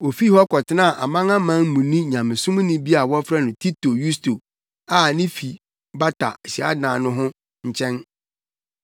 Ofii hɔ kɔtenaa Amanamanmuni Nyamesomni bi a wɔfrɛ no Tito Yusto a ne fi bata hyiadan ho no nkyɛn.